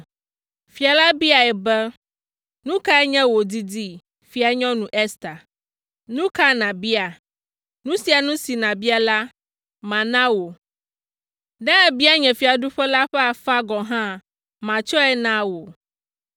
Fia la biae be, “Nu kae nye wò didi, Fianyɔnu Ester? Nu ka nàbia? Nu sia nu si nàbia la, mana wò, ne èbia nye fiaɖuƒe la ƒe afã gɔ̃ hã, matsɔe na wò!”